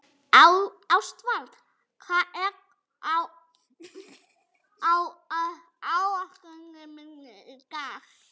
Ástvald, hvað er á áætluninni minni í dag?